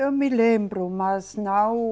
Eu me lembro, mas não